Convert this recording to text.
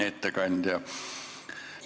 Hea ettekandja!